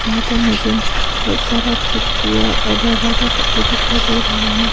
यहां पर मुझे बहुत सारा खिड़कियां और दरवाजा सभी दिखाई दे रहा है।